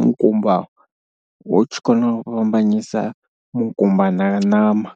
mukumba u tshi kona u fhambanyisa mukumbani nga ṋama.